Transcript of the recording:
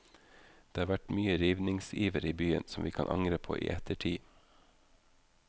Det har vært mye rivningsiver i byen som vi kan angre på i ettertid.